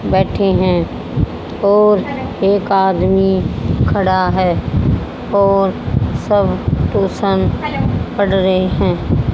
बैठे हैं और एक आदमी खड़ा है और सब ट्यूशन पढ़ रहे हैं।